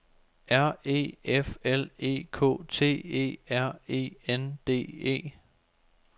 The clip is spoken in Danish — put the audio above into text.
R E F L E K T E R E N D E